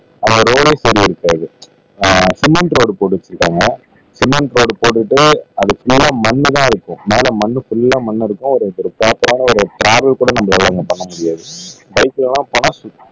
அந்த ரோடே சரி இருக்காது ஆஹ் சிமெண்ட் ரோடு போட்டு வச்சிருக்காங்க சிமெண்ட் ரோட் போட்டுட்டு அதுக்கு மேல மண் எல்லாம் இருக்கும் மேல மண் ஃபுல்லா மண் இருக்கும் ஒரு ப்ராப்பரான ஒரு டிராவல் கூட நம்மளால அங்க பண்ண முடியாது பைக்ல எல்லாம் போனா